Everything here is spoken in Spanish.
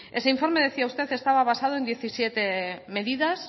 ese informe me decía usted estaba basado en diecisiete medidas